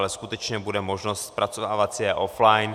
Ale skutečně bude možnost zpracovávat si je offline.